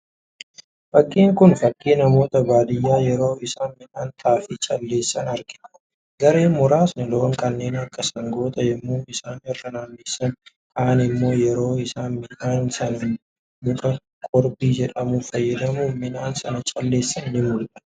Fakkiin kun, fakkii namoota baadiyyaa yeroo isaan midhaan xaafii calleessan argina. Gareen muraasni loon kanneen akka sangootaa yemmuu isaan irra naannessan, kaan immoo yeroo isaan midhaan sana muka qoorbii jedhamu fakkadamuun midhaan sana calleessan ni mul'atu.